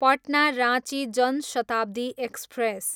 Patna, Ranchi Jan Shatabdi express